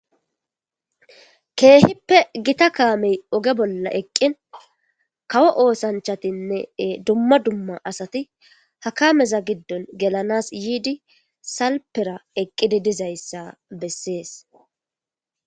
Keehippe gita kaamey oge bolla eqqin kawo oosanchatinne dumma dumma asati hakaameza giddon gelanas yiidi salpera eqqidi dizayssa bessees.